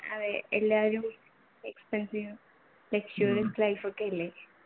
അതെ എല്ലാവരും expensive, luxurious life ഒക്കെയല്ലേ